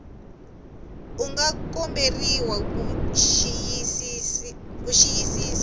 u nga komberiwa ku xiyisisisa